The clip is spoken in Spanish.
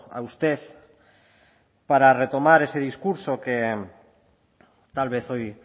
a usted para retomar ese discurso que tal vez hoy